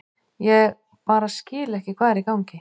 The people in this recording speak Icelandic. Ég bara skil ekki hvað er í gangi.